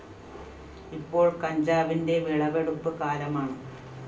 ഇപ്പോള്‍ കഞ്ചാവിന്റെ വിളവെടുപ്പ് കാലമാണ്